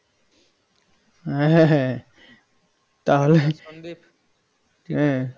হ্যাঁ হ্যাঁ হ্যাঁ তাহলে হ্যাঁ